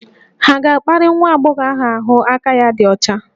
Hà ga-akparị nwa agbọghọ ahụ aka ya dị ọcha?